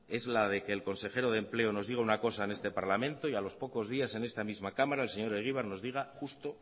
es la de que el consejero de empleo nos diga una cosa en este parlamento y a los pocos días en esta misma cámara el señor egibar nos diga justo